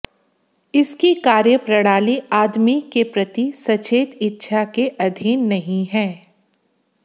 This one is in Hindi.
इसकी कार्यप्रणाली आदमी के प्रति सचेत इच्छा के अधीन नहीं है